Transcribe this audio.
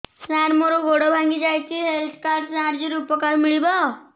ସାର ମୋର ଗୋଡ଼ ଭାଙ୍ଗି ଯାଇଛି ହେଲ୍ଥ କାର୍ଡ ସାହାଯ୍ୟରେ ଉପକାର ମିଳିବ